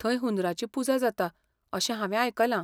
थंय हुंदरांची पुजा जाता अशें हांवें आयकलां!